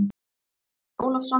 Andri Ólafsson